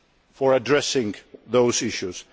momentum for addressing those